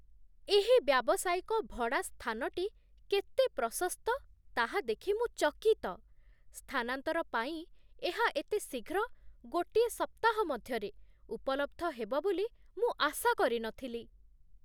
ଏହି ବ୍ୟାବସାୟିକ ଭଡ଼ା ସ୍ଥାନଟି କେତେ ପ୍ରଶସ୍ତ ତାହା ଦେଖି ମୁଁ ଚକିତ। ସ୍ଥାନାନ୍ତର ପାଇଁ ଏହା ଏତେ ଶୀଘ୍ର, ଗୋଟିଏ ସପ୍ତାହ ମଧ୍ୟରେ, ଉପଲବ୍ଧ ହେବ ବୋଲି ମୁଁ ଆଶା କରିନଥିଲି!